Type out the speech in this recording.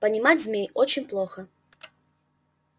понимать змей очень плохо